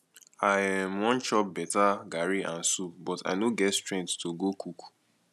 i um wan chop beta garri and soup but i no get strength to go cook